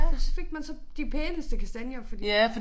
Og så fik man så de pæneste kastanjer fordi